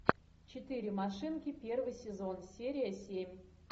четыре машинки первый сезон серия семь